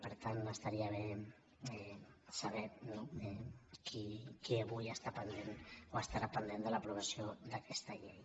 per tant estaria bé saber no qui avui està pendent o estarà pendent de l’aprovació d’aquesta llei